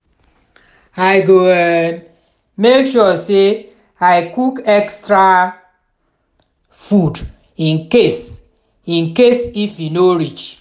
i go um make sure say i cook extra food in case in case if e no reach.